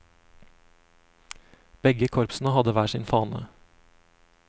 Begge korpsene hadde hver sin fane.